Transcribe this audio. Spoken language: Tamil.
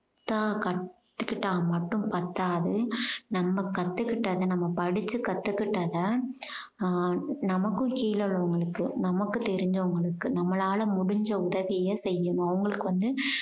தான் கத்துக்கிட்டா மட்டும் பத்தாது. நம்ம கத்துக்கிட்டத நம்ம படிச்சு கத்துக்குட்டத ஆஹ் நமக்கும் கீழ உள்ளவங்களுக்கு நமக்கு தெரிஞ்சவங்களுக்கு நம்மளால முடிஞ்ச உதவிய செய்யணும். அவங்களுக்கு வந்து